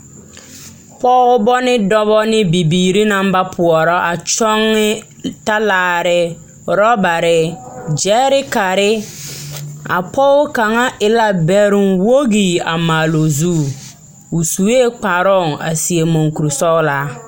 Pɔgeba ne dɔba ne bibiiri naŋ ba poɔra a kyɔŋ talaare orɔbare, gyɛrekare. A pɔge kaŋa e la bɛroŋ wogi a maale o zu. Osue kparooŋ , a seɛ muŋkuri sɔgelaa.